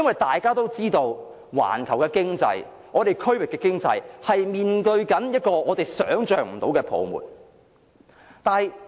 大家也知道，環球經濟、區域經濟正面對我們想象不到的泡沫。